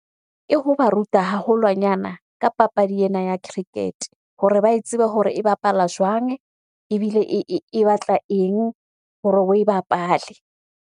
Ke hoba ruta haholwanyana ka papadi ena ya cricket hore ba e tsebe hore e bapala jwang ebile e batla eng hore oe bapale?